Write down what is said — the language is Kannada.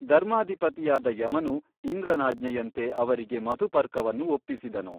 ಧರ್ಮಾಧಿಪತಿಯಾದ ಯಮನು ಇಂದ್ರನಾಜ್ಞೆಯಂತೆ ಅವರಿಗೆ ಮಧುಪರ್ಕವನ್ನು ಒಪ್ಪಿಸಿದನು.